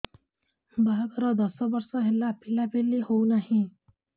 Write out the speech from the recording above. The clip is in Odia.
ବାହାଘର ଦଶ ବର୍ଷ ହେଲା ପିଲାପିଲି ହଉନାହି